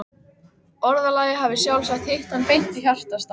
Orðalagið hafði sjálfsagt hitt hann beint í hjartastað.